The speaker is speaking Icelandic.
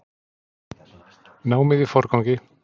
Námið í forgangi